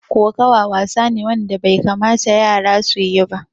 Koƙawa wasa ne wanda bai kamata yara su yi ba.